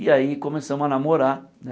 E aí começamos a namorar né.